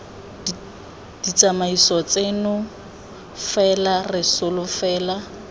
ditsamaiso tseno fela re solofela